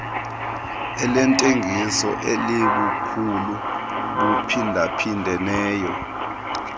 lentengiso elibukhulu buphindaphindeneyo